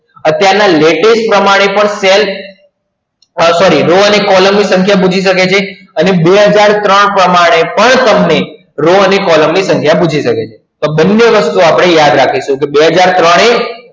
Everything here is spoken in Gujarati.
અત્યારના latest પ્રમાણે પણ સેલ અરે sorry કોલમની સંખ્યા પૂછી શકે છે અને બે હજાર ત્રણ પ્રમાણે પણ તમને રો અને કોલમની સંખ્યા પૂછી શકે છે તો બંને વસ્તુ આપણે યાદ રાખીશું તો બે હજાર ત્રણ એ